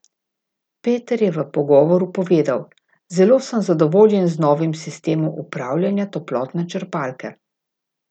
Peter je v pogovoru povedal: "Zelo sem zadovoljen z novim sistemom upravljanja toplotne črpalke.